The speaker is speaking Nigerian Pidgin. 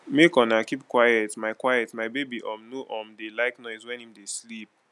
make una keep quiet my quiet my baby um no um dey like noise wen im dey sleep